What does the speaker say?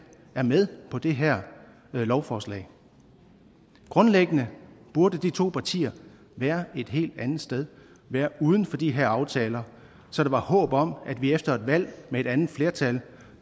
er med på det her lovforslag grundlæggende burde de to partier være et helt andet sted være uden for de her aftaler så der var håb om at vi efter et valg med et andet flertal